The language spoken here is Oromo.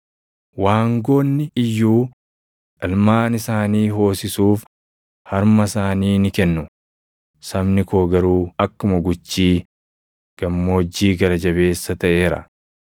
Waangoonni iyyuu ilmaan isaanii hoosisuuf harma isaanii ni kennu; sabni koo garuu akkuma guchii gammoojjii gara jabeessa taʼeera.